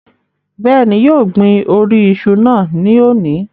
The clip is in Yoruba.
Bẹ́ẹ̀ni, yóò gbin orí iṣu náà ní òní